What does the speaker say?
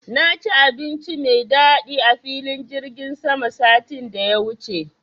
Na ci abinci mai daɗi a filin jirgin sama satin da ya wuce